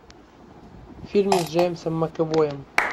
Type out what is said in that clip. фильмы с джеймсом макэвоем